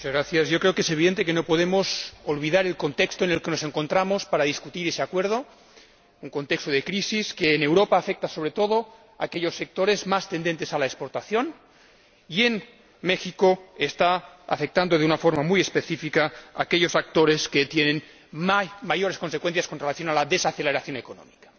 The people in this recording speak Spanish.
Señor Presidente, creo que es evidente que no podemos olvidar el contexto en el que nos encontramos para discutir este acuerdo, un contexto de crisis que en Europa afecta, sobre todo, a aquellos sectores más orientados a la exportación y, en México, está afectando de una forma muy específica a aquellos actores que sufren más las consecuencias de la desaceleración económica.